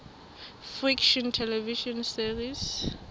fiction television series